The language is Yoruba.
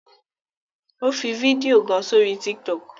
O fí fídíò kán sórí tiktok